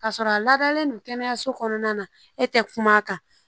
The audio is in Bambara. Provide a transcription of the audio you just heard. K'a sɔrɔ a ladalen don kɛnɛyaso kɔnɔna na e tɛ kuma a kan